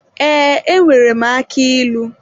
Ee, enwere m aki ilu.